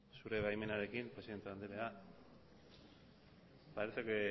zure baimenarekin presidente andrea parece que